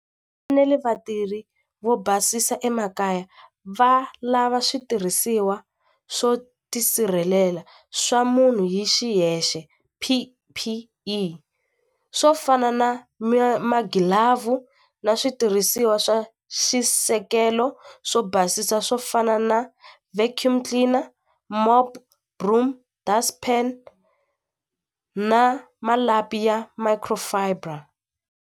vatirhi vo basisa emakaya va lava switirhisiwa swo tisirhelela swa munhu hi xiyexe P_P_E swo fana na magilavhu na switirhisiwa swa swisekelo swo basisa swo fana na vacuum cleaner, mop broom, dust pan na malapi ya micro fiber.